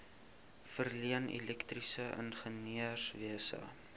verleen elektriese ingenieurswese